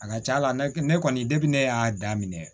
A ka ca la ne kɔni ne y'a daminɛ